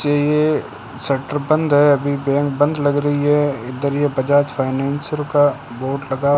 ये शटर बंद है अभी बैंक बंद लग रही है इधर यह बजाज फाइनेंसर का बोर्ड लगा --